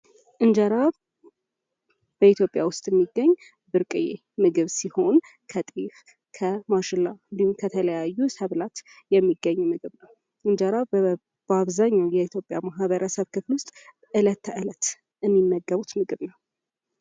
እንጀራ በኢትዮጵያ ውስጥ የሚገኝ ብርቅዬ ምግብ ሲሆን ከጤፍ ከማሽላ እንድሁም ከተለያዩ ሰብላት የሚገኝ ምግብ ነው። እንጀራ በአብዛኛው የኢትዮጵያ ማህበረሰብ ክፍል ውስጥ እለት ከእለት የሚመገቡት ምግብ ነው።